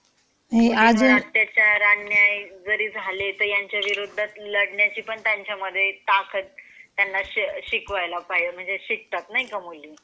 हो अत्याचार अन्याय जरी झाले तरी यांच्या विरोधात लढण्याची पण त्यांच्यामध्ये ताकत त्यांना शिकवायला म्हणजे शिकतात नाही का मुली .